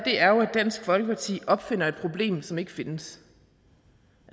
dansk folkeparti opfinder et problem som ikke findes